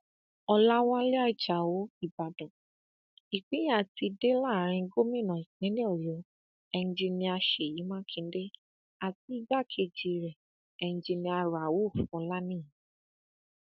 ọlàwálẹ ajáò ìbàdàn ìpínyà ti dé láàrin gómìnà ìpínlẹ ọyọ enjiníà ṣèyí mákindè àti igbákejì rẹ enjinníà rauf ọlàníyàn